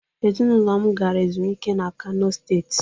Ezịnụlo gara ezumịke na kano steetị